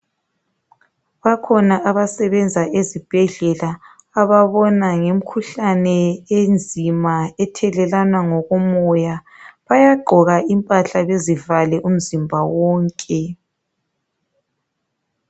Bakhona abasebenza ezibhedlela ababona ngemkhuhlane enzima ethelelwana ngokomoya. Bayagqoka impahla bezivale umzimba wonke.